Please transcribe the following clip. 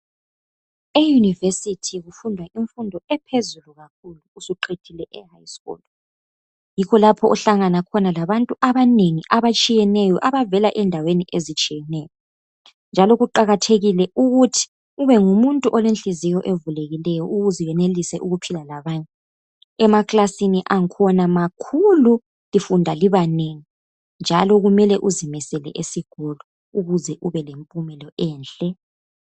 EYunivesithi kufundwa imfundo ephezulu kakhulu. Usuqedile e high school yikho lapho ohlangana khona labantu abanengi abatshiyeneyo abavela endaweni ezitshiyeneyo njalo kuqakathekile ukuthi ubengumuntu olenhliziyo evulekileyo ukuze wenelise ukuphila labanye. Emakilasini akhona makhulu lifundq libanengi njalo kumele uzimisele esikolo ukuze ubelempumela enhle